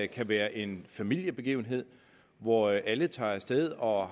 kan være en familiebegivenhed hvor alle tager af sted og